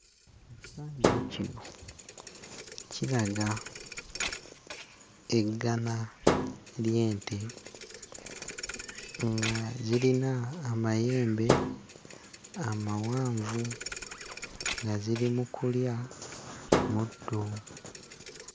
Ekifaananyi kino kiraga eggana ly'ente nga zirina amayembe amawanvu, nga ziri mu kulya muddo.